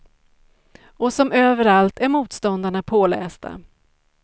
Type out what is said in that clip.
Och som överallt är motståndarna pålästa.